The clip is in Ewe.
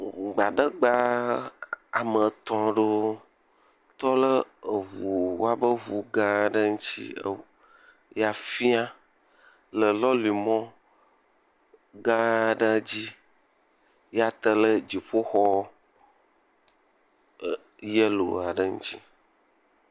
gbadagba woametɔ̃ lewo tɔɖe ʋu woaƒe eʋu gã ɖe ŋtsi eʋu ya fiã le lɔli mɔ gã aɖe dzi ya tele dziƒoxɔ yelo aɖe ŋtsi